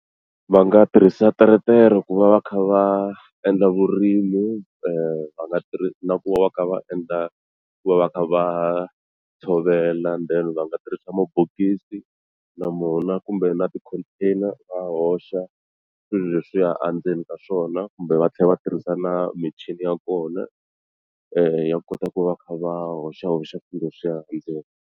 Va nga tirhisa teretere ku va va kha va endla vurimi va nga tirhi na ku va va kha va endla ku va va kha va tshovela then va nga tirhisa mabokisi na mona kumbe na ti-container va hoxa swilo leswiya a ndzeni ka swona kumbe va tlhela va tirhisa na michini ya kona ya kota ku va kha va hoxahoxa swilo leswiya endzeni.